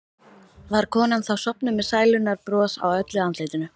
Var konan þá sofnuð með sælunnar bros á öllu andlitinu.